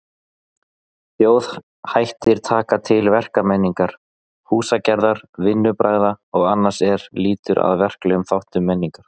Þjóðhættir taka til verkmenningar, húsagerðar, vinnubragða og annars er lýtur að verklegum þáttum menningar.